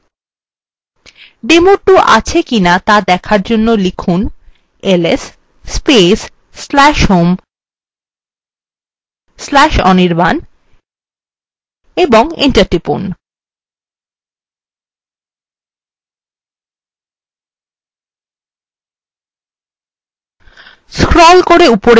demo2 আছে কিনা দেখার জন্য লিখুন